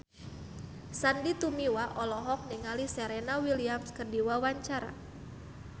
Sandy Tumiwa olohok ningali Serena Williams keur diwawancara